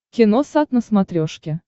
киносат на смотрешке